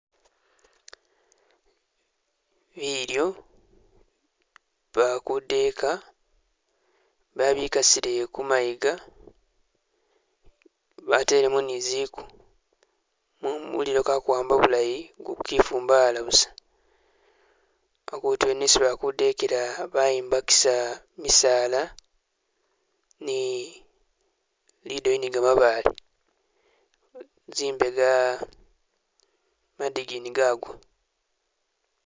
Bilyo, ba kudeka babikasile kumayiga, batelemu ni ziku. Mu mulilo kakuwamba bulayi kukifumbala busa. Akutu yene esi bali kudekela a bayimbakisa misala ni lidoyi ni gamabaale, zimbega madigini gagwa.